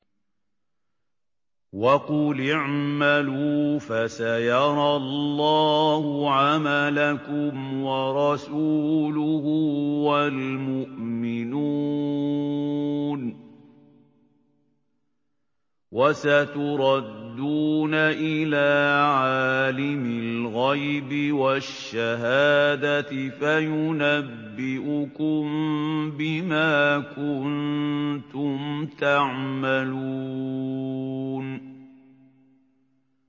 وَقُلِ اعْمَلُوا فَسَيَرَى اللَّهُ عَمَلَكُمْ وَرَسُولُهُ وَالْمُؤْمِنُونَ ۖ وَسَتُرَدُّونَ إِلَىٰ عَالِمِ الْغَيْبِ وَالشَّهَادَةِ فَيُنَبِّئُكُم بِمَا كُنتُمْ تَعْمَلُونَ